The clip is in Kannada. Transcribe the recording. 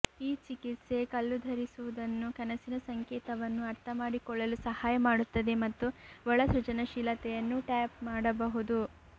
ಈ ಚಿಕಿತ್ಸೆ ಕಲ್ಲು ಧರಿಸುವುದನ್ನು ಕನಸಿನ ಸಂಕೇತವನ್ನು ಅರ್ಥಮಾಡಿಕೊಳ್ಳಲು ಸಹಾಯ ಮಾಡುತ್ತದೆ ಮತ್ತು ಒಳ ಸೃಜನಶೀಲತೆಯನ್ನು ಟ್ಯಾಪ್ ಮಾಡಬಹುದು